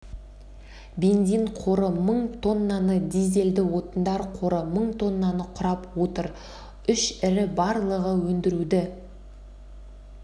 бензин қоры мың тоннаны дизельді отындар қоры мың тоннаны құрап отыр үш ірі барлығы өндіруді